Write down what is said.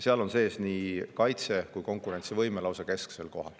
Seal on sees nii kaitse- kui ka konkurentsivõime, mis on lausa kesksel kohal.